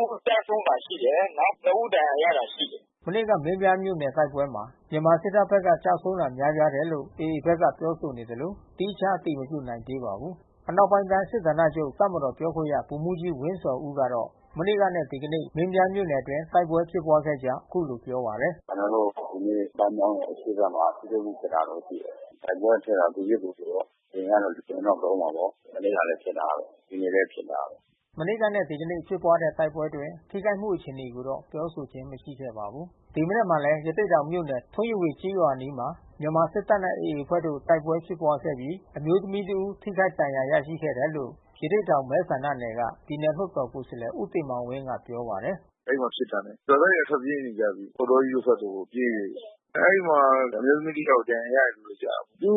ဦး ကျဆုံးတာ ရှိတယ်။ နောက် နှစ် ဦး ဒဏ်ရာရတာ ရှိတယ်။” မနေ့က မင်းပြားမြို့နယ် တိုက်ပွဲမှာ မြန်မာစစ်တပ်ဘက်က ကျဆုံးတာ များပြားတယ်လို့ AA ဘက်က ပြောဆိုနေသလို သီးခြား အတည်မပြုနိုင်သေးပါဘူး။ အနောက်ပိုင်းတိုင်းစစ်ဌာနချုပ် တပ်မတော်ပြောခွင့်ရ ဗိုလ်မှူးကြီးဝင်းဇော်ဦးကတော့ မနေ့ကနဲ့ ဒီကနေ့ မင်းပြားမြို့နယ်အတွင်း တိုက်ပွဲဖြစ်ပွားခဲ့ကြောင်း အခုလိုပြောပါတယ်။ "ကျနော်တို့ဒီနေ့ ပန်းမြောင်းရဲ့ အရှေ့ဘက်မှာ ထိတွေ့မှု ဖြစ်တာရှိတယ်။ တိုက်ပွဲအထဲက သူပစ်ကိုယ်ပစ်ပေါ့။ လေယာဉ်ကတော့ လေယာဉ်တော့သုံးမှာပေါ့။ မနေ့ကလည်း ဖြစ်တာပဲ။ ဒီနေ့လည်း ဖြစ်တာပဲ။" မနေ့ကနဲ့ ဒီကနေ့ ဖြစ်ပွားတဲ့ တိုက်ပွဲအတွင်း ထိခိုက်မှုအခြေအနေကိုတော့ ပြောဆိုခြင်း မရှိခဲ့ပါဘူး။ ဒီမနက်မှာလည်း ရသေ့တောင်မြို့နယ် ထွန်းရဝေကျေးရွာအနီးမှာ မြန်မာစစ်တပ်နဲ့ AA အဖွဲ့တို့ တိုက်ပွဲဖြစ်ပွားခဲ့ပြီး အမျိုးသမီး တဦး ထိခိုက်ဒဏ်ရာ ရရှိခဲ့တယ်လို့ ရသေ့တောင်မဲဆန္ဒနယ်က ပြည်နယ်လွှတ်တော်ကိုယ်စားလှယ် ဦးတင်မောင်ဝင်းက ပြောပါတယ်။ “အဲဒီမှာဖြစ်တာနဲ့ ရွာသားတွေက ထွက်ပြေးနေကြပြီ။ ပေါက်တောကြီးဘက်ကို ပြေးနေပြီ။ အဲဒီမှာအမျိုးသမီးတယောက် ဒဏ်ရာရတာ ရှိတယ်ဗျ။ သူ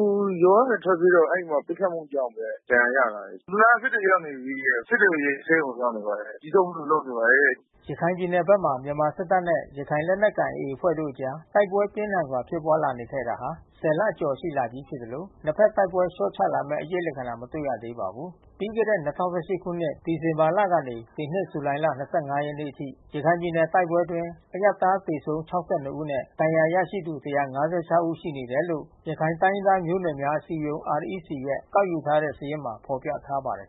ရွာကနေ ထွက်ပြေးတော့ အဲဒီမှာ ပစ်ခတ်မှုကြောင့်ပဲ ဒဏ်ရာရတယ်။ သူကစစ်တွေရောက်နေပြီ။ စစ်တွေ ဆေးရုံရောက်နေပါတယ်။ ကျည်ထုတ်ဖို့တော့ လုပ်နေပါတယ်။” ရခိုင်ပြည်နယ်ဘက်မှာ မြန်မာစစ်တပ်နဲ့ ရခိုင်လက်နက်ကိုင် AA အဖွဲ့တို့အကြား တိုက်ပွဲပြင်းထန်စွာ ဖြစ်ပွားလာနေခဲ့တာ ၁၀ လ ကျော်ရှိလာနေပြီ ဖြစ်သလို နှစ်ဘက် တိုက်ပွဲလျော့ချလာမယ့် အရိပ်လက္ခဏာ မတွေ့ရသေးပါဘူး။ ပြီးခဲ့တဲ့ ၂၀၁၈ ခုနှစ် ဒီဇင်ဘာလကနေ ဒီနှစ် ဇူလိုင်လ ၂၅ ရက်နေ့ထိ ရခိုင်ပြည်နယ် တိုက်ပွဲတွေအတွင်း အရပ်သား သေဆုံး ၆၂ ဦးနဲ့ ဒဏ်ရာရသူ ၁၅၆ ဦး ရှိတယ်လို့ ရခိုင်တိုင်းရင်းသားမျိုးနွယ်များ အစည်းအရုံး REC ရဲ့ ကောက်ယူထား တဲ့ စာရင်းမှာ ဖော်ပြထားပါတယ်